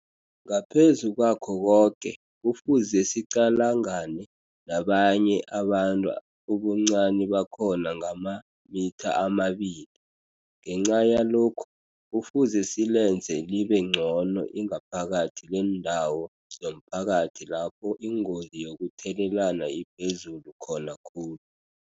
Ngaphezu kwakho koke, kufuze siqalangane nabanye abantu ubuncani bakhona ngamamitha amabili. Ngenca yalokhu, kufuze silenze libe ngcono ingaphakathi leendawo zomphakathi lapho ingozi yokuthelelana iphezulu khona khulu.